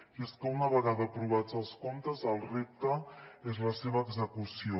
i és que una vegada aprovats els comptes el repte és la seva execució